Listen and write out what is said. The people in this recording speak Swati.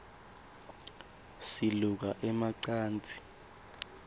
siluka ema cansi